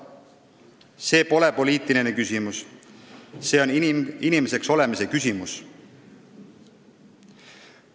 See pole poliitiline küsimus, see on inimeseks olemise küsimus.